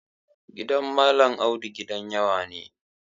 Gidan Malam Audu gidan yawa ne.